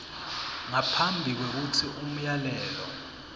ngaphambi kwekutsi umyalelo